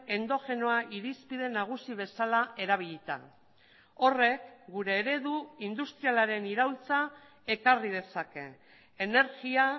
endogenoa irizpide nagusi bezala erabilita horrek gure eredu industrialaren iraultza ekarri dezake energia